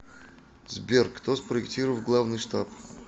сбер кто спроектировал главный штаб